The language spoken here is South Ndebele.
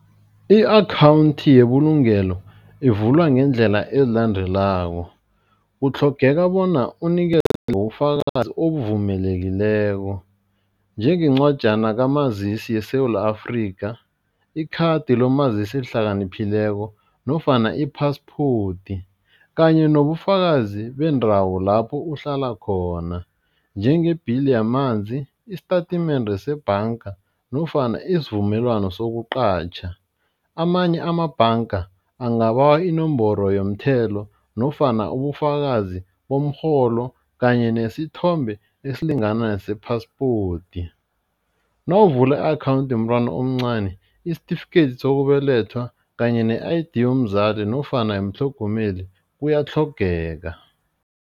I-akhawundi yebulungelo ivulwa ngeendlela ezilandelako, kutlhogeka bona unikela ngobufakazi obuvumelekileko, njenge ncwajana kamazisi yeSewula Afrika, ikhadi lomazisi ohlakaniphileko nofana i-passport kanye nobufakazi bendawo lapho uhlala khona, njenge-bill yamanzi, isitatimende sebhanga nofana isivumelwano sokuqatjha, amanye amabhanga angabawa inomboro yomthelo nofana ubufakazi bomrholo kanye nesithombe esilingana nese-passport, nawuvula i-akhawundi yomntwana omncani isitifikethi sokubelethwa kanye ne-I_D yomzali nofana umtlhogomeli kuyatlhogeka.